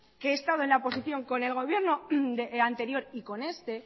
que he estado en la oposición con el gobierno anterior y con este